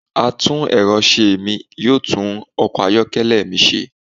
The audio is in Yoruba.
atún erọ̀ se mí, yoo tun ọkọ ayọkẹlẹ mi ṣe.